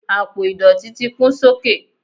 apo idọti ti kún sókè